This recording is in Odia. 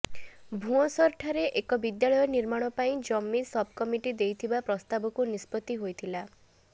ଭୁଅଁସରଠାରେ ଏକ ବିଦ୍ୟାଳୟ ନିର୍ମାଣ ପାଇଁ ଜମି ସବ୍କମିଟି ଦେଇଥିବା ପ୍ରସ୍ତାବକୁ ନିଷ୍ପତ୍ତି ହୋଇଥିଲା